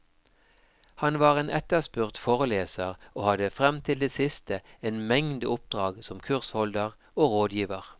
Han var en etterspurt foreleser, og hadde frem til det siste en mengde oppdrag som kursholder og rådgiver.